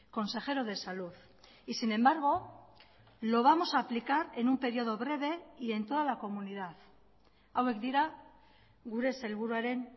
consejero de salud y sin embargo lo vamos a aplicar en un período breve y en toda la comunidad hauek dira gure sailburuaren